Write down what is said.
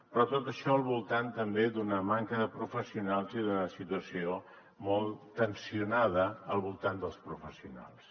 però tot això al voltant també d’una manca de professionals i d’una situació molt tensionada al voltant dels professionals